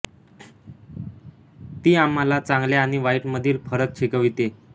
ती आम्हाला चांगल्या आणि वाईट मधील फरक शिकवते